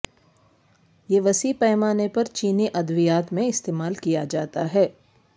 یہ وسیع پیمانے پر چینی ادویات میں استعمال کیا جاتا ہے